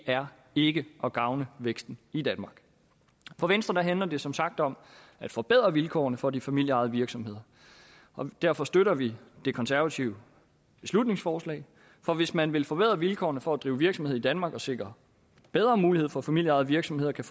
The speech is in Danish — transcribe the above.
er ikke at gavne væksten i danmark for venstre handler det som sagt om at forbedre vilkårene for de familieejede virksomheder og derfor støtter vi det konservative beslutningsforslag for hvis man vil forbedre vilkårene for at drive virksomhed i danmark og sikre bedre muligheder for at familieejede virksomheder kan